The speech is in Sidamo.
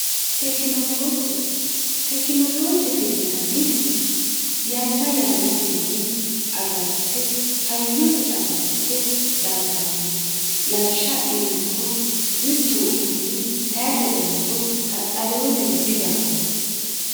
Tekinolooje, Tekinoloojete yinanniti yanna yannatenni agarte hayyose agadhite daaggannote. lawishsha adhinummoro mittu uduunni tayixe dayinoro qaxalewo diro didaanno.